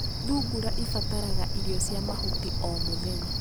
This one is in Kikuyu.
thungura ĩbataraga irio cia mahuti o mũthenya .